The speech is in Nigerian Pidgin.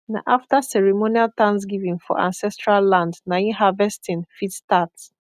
na after ceremonial thanksgiving for ancestral land nai harvesting fit start